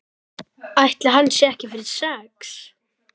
Ætli hann sé ekki fyrir sex?